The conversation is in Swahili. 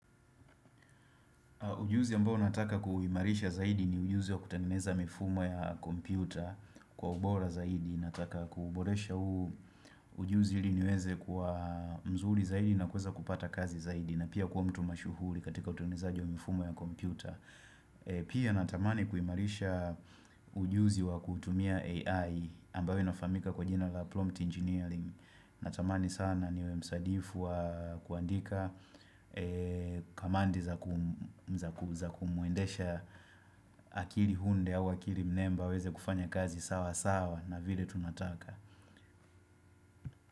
Ujuzi ambao nataka kuimarisha zaidi ni ujuzi wa kutengeneza mifumo ya kompyuta kwa ubora zaidi. Nataka kuuboresha huu ujuzi ili niweze kuwa mzuri zaidi na kuweza kupata kazi zaidi na pia kuwa mtu mashuhuri katika utengenezaji wa mifumo ya kompyuta. Pia natamani kuimarisha ujuzi wa kutumia AI ambao inafaamika kwa jina la Plumpt Engineering. Natamani sana niwe msadifu wa kuandika Kamandi za kumwendesha akili hunde au akili mnemba aweze kufanya kazi sawa sawa na vile tunataka.